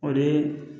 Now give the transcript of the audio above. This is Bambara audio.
O de ye